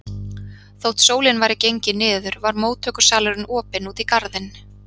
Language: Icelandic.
Þótt sólin væri gengin niður var móttökusalurinn opinn út í garðinn.